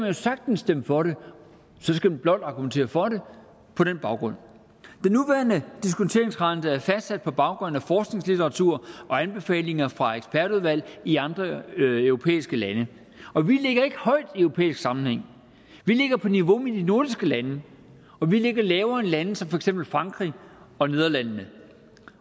jo sagtens stemme for det så skal man blot argumentere for det på den baggrund den nuværende diskonteringsrente er fastsat på baggrund af forskningslitteratur og anbefalinger fra ekspertudvalg i andre europæiske lande og vi ligger ikke højt i europæisk sammenhæng vi ligger på niveau med de nordiske lande og vi ligger lavere end lande som for eksempel frankrig og nederlandene